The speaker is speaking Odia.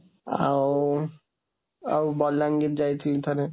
ଆଉ, ଆଉ ବଲାଙ୍ଗୀର ଯାଇଥିଲି ଥରେ।